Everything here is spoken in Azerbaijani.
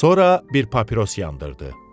Sonra bir papiros yandırdı.